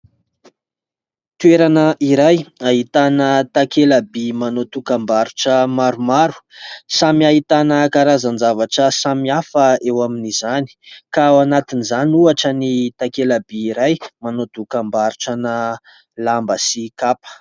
Toerana iray ahitana takela-by manao dokam-barotra maromaro samy ahitana karazan-javatra samihafa eo amin'izany ka ao anatin' izany ohatra ny takela-by iray manao dokam-barotrana lamba sy kapa.